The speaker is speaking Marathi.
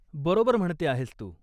बरोबर म्हणते आहेस तू.